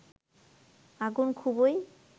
আগুন খুবই